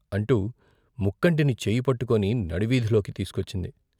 అంటూ ముక్కంటిని చేయ్యి పట్టుకొని నడి వీధిలోకి తీసికొచ్చింది.